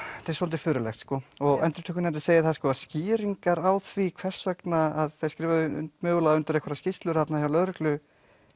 þetta er svolítið furðulegt endurupptökunefnd segir það að skýringar á því hvers vegna þeir skrifuðu mögulega undir einhverjar skýrslur þarna hjá lögreglu